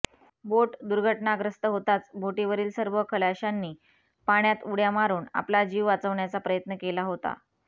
बोट दुर्घटनाग्रस्त होताच बोटीवरील सर्व खलाशांनी पाण्यात उड्या मारून आपला जीव वाचवण्याचा प्रयत्न केला होता